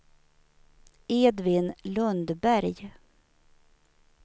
Edvin Lundberg